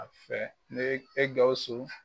A fɛ ne e Gawusu